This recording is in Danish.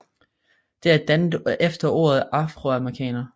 Det er dannet efter ordet afroamerikaner